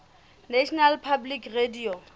national public radio